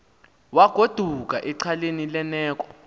wagoduka esexhaleni lerneko